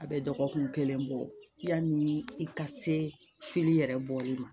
A bɛ dɔgɔkun kelen bɔ yan ni i ka se fili yɛrɛ bɔli ma